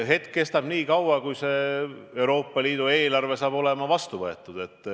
Hetk kestab nii kaua, kuni Euroopa Liidu eelarve saab vastu võetud.